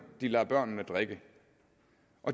de lader børnene drikke